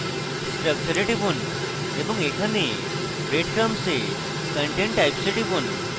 structure এ টিপুন এবং এখানে bread crumbs এ content types এ টিপুন